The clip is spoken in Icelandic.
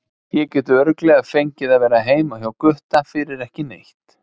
Ég get örugglega fengið að vera heima hjá Gutta fyrir ekki neitt.